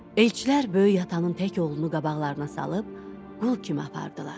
Elçilər Böyük atanın tək oğlunu qabaqlarına salıb, qul kimi apardılar.